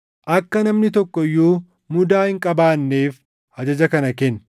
Akka namni tokko iyyuu mudaa hin qabaanneef ajaja kana kenni.